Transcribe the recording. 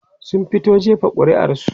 sun fito jefa ƙuri'ar su